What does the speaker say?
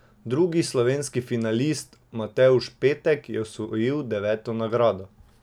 Drugi slovenski finalist, Matevž Petek, je osvojil deveto mesto.